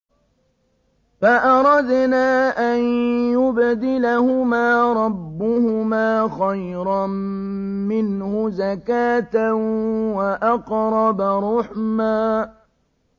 فَأَرَدْنَا أَن يُبْدِلَهُمَا رَبُّهُمَا خَيْرًا مِّنْهُ زَكَاةً وَأَقْرَبَ رُحْمًا